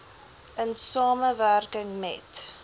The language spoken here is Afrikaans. in samewerking met